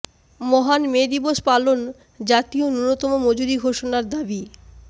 মহান মে দিবস পালন জাতীয় ন্যূনতম মজুরি ঘোষণার দাবি